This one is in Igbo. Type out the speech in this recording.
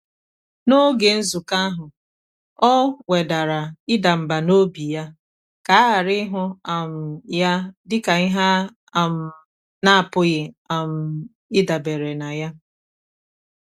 n’ógè nzùkọ́ áhụ́ ọ́ wèdàrà ị́dà mbà n’óbí yá kà á ghàrà ị́hụ́ um yá dị́kà ìhè á um nà-ápụ́ghị́ um ị́dàbèré nà yá.